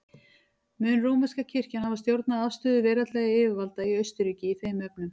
Mun rómverska kirkjan hafa stjórnað afstöðu veraldlegra yfirvalda í Austurríki í þeim efnum.